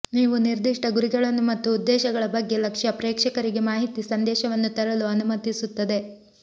ನೀವು ನಿರ್ದಿಷ್ಟ ಗುರಿಗಳನ್ನು ಮತ್ತು ಉದ್ದೇಶಗಳ ಬಗ್ಗೆ ಲಕ್ಷ್ಯ ಪ್ರೇಕ್ಷಕರಿಗೆ ಮಾಹಿತಿ ಸಂದೇಶವನ್ನು ತರಲು ಅನುಮತಿಸುತ್ತದೆ